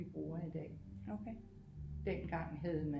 Vi bruger i dag dengang havde man